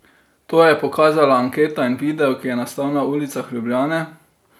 To je pokazala anketa in video, ki je nastal na ulicah Ljubljane.